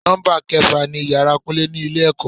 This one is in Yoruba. Nọ́mbà kẹfà ni ìyára kúnlé ni ilé ẹ̀kọ́.